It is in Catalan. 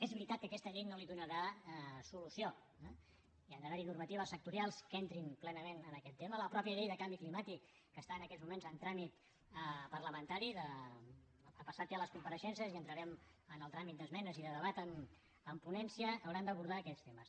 és veritat que aquesta llei no li donarà solució eh hi han d’haver normatives sectorials que entrin plenament en aquest tema la mateixa llei de canvi climàtic que està en aquests moments en tràmit parlamentari ha passat ja les compareixences i entrarem en el tràmit d’esmenes i de debat en ponència hauran d’abordar aquests temes